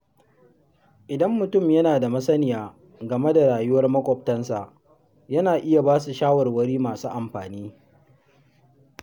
Idan mutum yana da masaniya game da rayuwar maƙwabtansa, yana iya ba su shawarwari masu amfani.